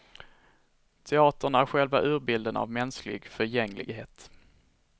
Teatern är själva urbilden av mänsklig förgänglighet.